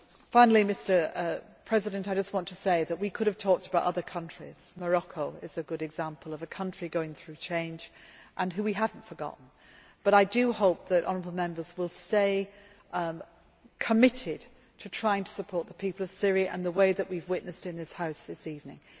have. Finally, I just want to say that we could have talked about other countries Morocco is a good example of a country going through change, and which we have not forgotten but I do hope that honourable Members will stay committed to trying to support the people of Syria in the way that we have witnessed in this House this evening.